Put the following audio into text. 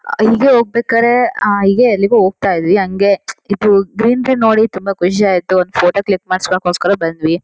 ಅಹ್ ಇಲ್ಗೆ ಹೋಗ್ಬೇಕಾರೆ ಅಹ್ ಇಲ್ಗೆ ಎಲ್ಲೋ ಹೋಗ್ತಾ ಇದ್ವಿ ಹಂಗೆ ಇಬ್ರು ಗ್ರೀನ್ ಗ್ರೀನ್ ನೋಡಿ ತುಂಬ ಖುಷಿ ಆಯ್ತು ಒಂದ್ ಫೋಟೋ ಕ್ಲಿಕ್ ಮಾಡ್ಸ್ಕೊಳಕ್ಕೋಸ್ಕರ ಬಂದ್ವಿ.